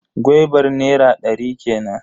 Gwaibar nera ɗari kenan.